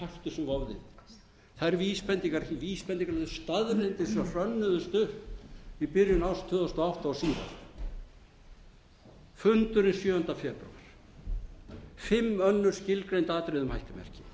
yfir það eru vísbendingar eftir vísbendingar um þær staðreyndir sem hrönnuðust upp í byrjun árs tvö þúsund og átta og síðar fundurinn sjöunda febrúar fimm önnur skilgreind atriði um hættumerki